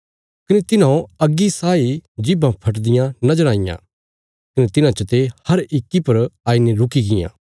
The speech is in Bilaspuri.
कने तिन्हौं अग्गी साई जीभां फटदियां नज़र आईयां कने तिन्हां चते हर इक्की पर आईने रुकीगियां